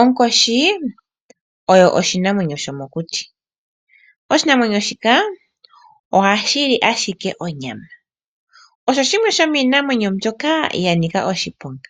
Onkoshi oyo oshinamwenyo shomokuti, oshinamwenyo shika ohashi li ashike onyama. Osho shimwe sho miinamwenyo mbyoka ya nika oshiponga.